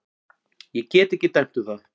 Ég get ekki dæmt um það.